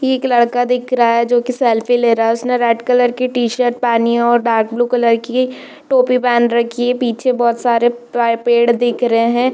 एक लड़का दिख रहा है जो कि सेल्फी ले रहा है उसने रेड कलर की टी-शर्ट पहनी हुई है और डार्क ब्लू कलर की टोपी पहन रखी है पीछे बहुत सारे प पेड़ दिख रहे हैं।